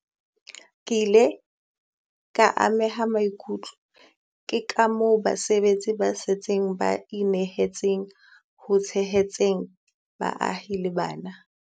Ke ile ka ameha maikutlo ke kamoo basebetsi ba setsing ba inehetseng ho tshehetseng baahi le bana.